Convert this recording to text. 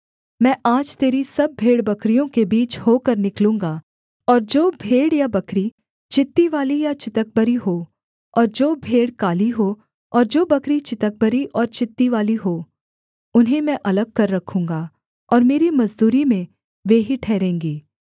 मैं आज तेरी सब भेड़बकरियों के बीच होकर निकलूँगा और जो भेड़ या बकरी चित्तीवाली या चितकबरी हो और जो भेड़ काली हो और जो बकरी चितकबरी और चित्तीवाली हो उन्हें मैं अलग कर रखूँगा और मेरी मजदूरी में वे ही ठहरेंगी